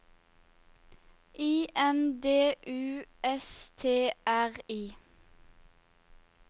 I N D U S T R I